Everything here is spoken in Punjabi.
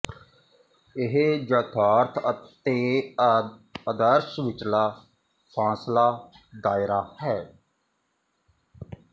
ਇਸ ਯਥਾਰਥ ਤੇ ਆਦਰਸ਼ ਵਿਚਲਾ ਫਾਸਲਾ ਦਾਇਰਾ ਹੈ